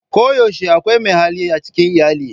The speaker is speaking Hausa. Koyaushe akwai mai hali a cikin iyali.